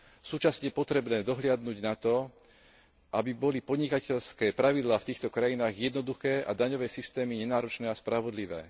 Súčasne je potrebné dohliadnuť na to, aby boli podnikateľské pravidlá v týchto krajinách jednoduché a daňové systémy nenáročné a spravodlivé.